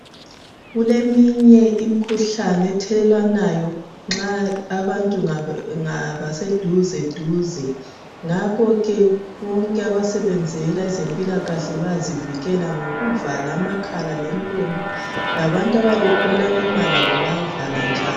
Kuleminye imkhuhlane ethelelwanayo nxa abantu bengaba seduzeduze ngakho ke bonke abasebenzela ezempilakahle bayazivikela ngokuvala amakhala lemilomo labantu abayabe bekhuluma labo bayavala njalo.